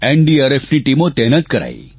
એનડીઆરએફની ટીમો તહેનાત કરાઇ